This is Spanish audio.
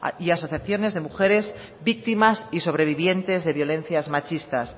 y asociaciones de mujeres víctimas y sobrevivientes de violencias machistas